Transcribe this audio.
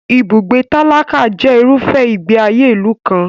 Ibùgbé tálákà jẹ irúfẹ́ ìgbé ayé ìlú kan.